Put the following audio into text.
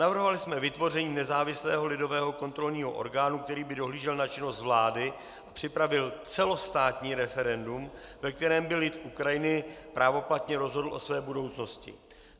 Navrhovali jsme vytvoření nezávislého lidového kontrolního orgánu, který by dohlížel na činnost vlády a připravil celostátní referendum, ve kterém by lid Ukrajiny právoplatně rozhodl o své budoucnosti.